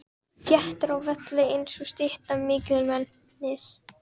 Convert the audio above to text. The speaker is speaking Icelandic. Þéttur á velli einsog stytta mikilmennis.